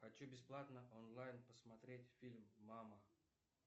хочу бесплатно онлайн посмотреть фильм мама